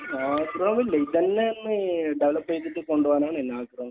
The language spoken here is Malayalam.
ആഹ്. ഇത് തന്നെ ഒന്ന് ഡെവലപ്പ് ചെയ്തിട്ട് കൊണ്ട് പോകണമെന്നാണ് ആഗ്രഹം.